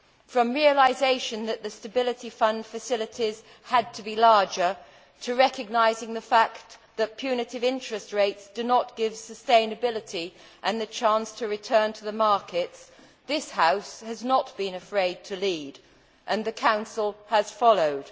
From the realisation that the Stability Fund facilities had to be larger, to recognising the fact that punitive interest rates do not give sustainability and the chance to return to the markets, this House has not been afraid to lead and the Council has followed.